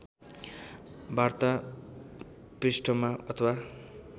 वार्ता पृष्ठमा अथवा